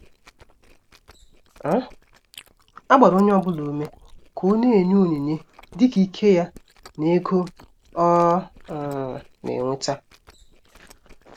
um A gbara onye ọbụla ùmè ka ó na-enye onyinye dịka íké ya na ègò ọ̀ um na-enweta.